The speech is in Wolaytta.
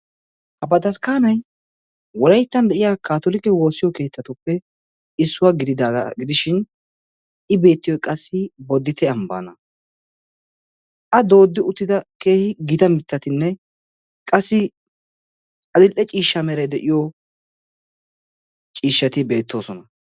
ha bataskkaanay wolayttan de'iya kaatolike woossiyo keettatuppe issuwaa gidida gidishin i beettiyoi qassi boddite ambbaana a dooddi uttida keehi gita mittatinne qassi adil'e ciishsha mera de'iyo ciishshati beettoosona.